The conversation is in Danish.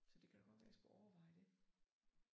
Så det kan da godt være jeg skulle overveje det